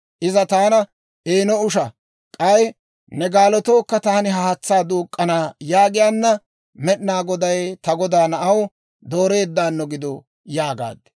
Iza taana, «Eeno usha; k'ay ne gaalotookka taani haatsaa duuk'k'ana» yaagiyaanna, Med'inaa Goday ta godaa na'aw dooreeddaano gidu› yaagaad.